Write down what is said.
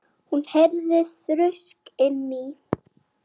Hún heyrði þrusk inni í